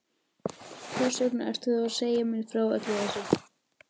Hversvegna ertu þá að segja mér frá öllu þessu?